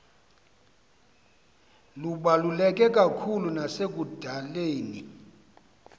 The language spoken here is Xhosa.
lubaluleke kakhulu nasekudaleni